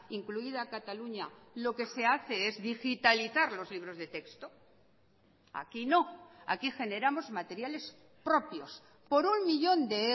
incluida cataluña lo que se hace es digitalizar los libros de texto aquí no aquí generamos materiales propios por un millón de